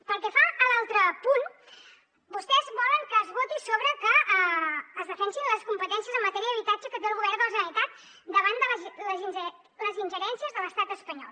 pel que fa a l’altre punt vostès volen que es voti sobre que es defensin les competències en matèria d’habitatge que té el govern de la generalitat davant de les ingerències de l’estat espanyol